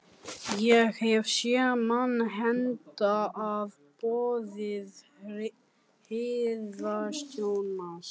Ég hef séð mann hýddan að boði hirðstjórans.